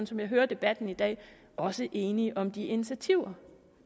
som jeg hører debatten i dag også enige om de initiativer